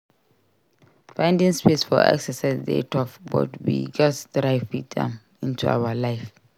Finding space for exercise dey tough but we gatz try fit am into our life.